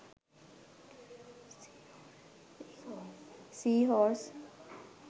sea horse